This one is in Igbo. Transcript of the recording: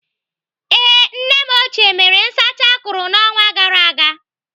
Ee, nne m ochie mere nsacha akụrụ n'ọnwa gara aga.